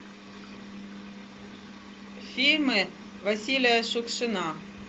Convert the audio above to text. фильмы василия шукшина